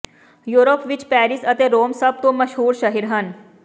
Europe ਵਿਚ Paris ਅਤੇ Rome ਸਭ ਤੋਂ ਮਸ਼ਹੂਰ ਸ਼ਹਿਰ ਹਨ